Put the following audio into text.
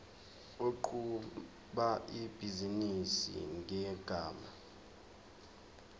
oqhuba ibhizinisi ngegama